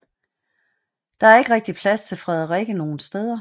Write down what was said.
Der er ikke rigtigt plads til Frederikke nogen steder